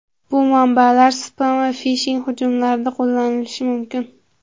Bu manbalar spam va fishing hujumlarida qo‘llanishi mumkin.